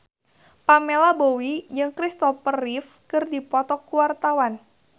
Pamela Bowie jeung Christopher Reeve keur dipoto ku wartawan